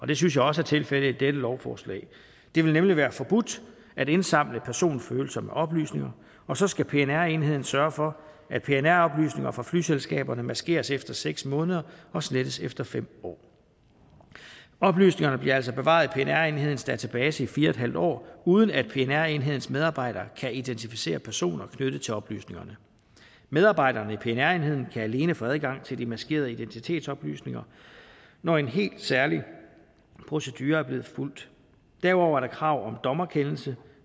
det synes jeg også er tilfældet i dette lovforslag det vil nemlig være forbudt at indsamle personfølsomme oplysninger og så skal pnr enheden sørge for at pnr oplysninger fra flyselskaberne maskeres efter seks måneder og slettes efter fem år oplysninger bliver altså bevaret i pnr enhedens database i fire en halv år uden at pnr enhedens medarbejdere kan identificere personer knyttet til oplysningerne medarbejderne i pnr enheden kan alene få adgang til de maskerede identitetsoplysninger når en helt særlig procedure er blevet fulgt derudover er der krav om en dommerkendelse